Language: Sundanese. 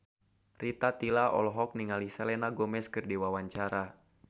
Rita Tila olohok ningali Selena Gomez keur diwawancara